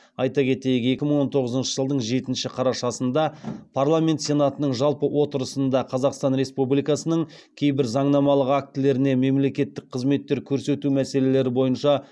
айта кетейік екі мың тоғызыншы жылдың жетінші қарашасында парламент сенатының жалпы отырысында қазақстан республикасының кейбір заңнамалық актілеріне мемлекеттік қызметтер көрсету мәселелері бойынша